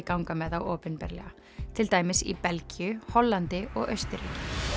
ganga með þá opinberlega til dæmis í Belgíu Hollandi og Austurríki